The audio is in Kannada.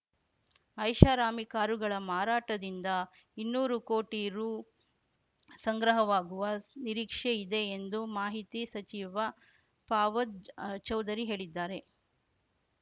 ಐಷಾರಾಮಿ ಕಾರುಗಳ ಮಾರಾಟದಿಂದ ಇನ್ನೂರು ಕೋಟಿ ರು ಸಂಗ್ರಹವಾಗುವ ನಿರೀಕ್ಷೆ ಇದೆ ಎಂದು ಮಾಹಿತಿ ಸಚಿವ ಫವಾದ್‌ ಚೌಧರಿ ಹೇಳಿದ್ದಾರೆ